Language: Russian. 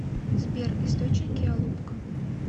сбер источники алупка